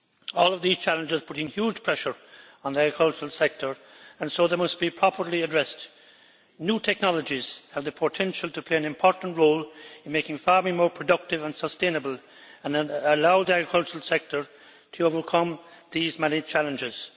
All of these challenges are putting huge pressure on the agricultural sector and so they must be properly addressed. New technologies have the potential to play an important role in making farming more productive and sustainable and allow the agricultural sector to overcome these many challenges.